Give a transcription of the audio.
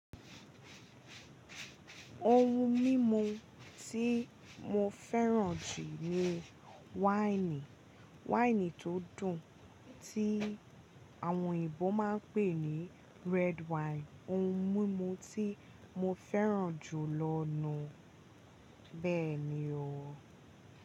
Ohun mímu tí mo fẹ́ràn jù ni wáìnì. Wáìnì tó dùn, tí àwọn òyinbo máa ń pè ní red wine. Ohun mímu tí mo fẹ́ràn jù lọ nùú. Bẹ́ẹ̀ni o.